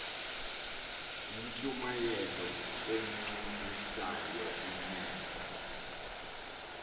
yintshumayelo echukumisa imeko